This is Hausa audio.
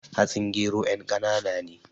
Hatsin gero yan kanaana ne